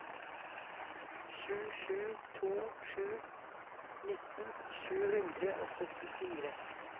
sju sju to sju nitten sju hundre og syttifire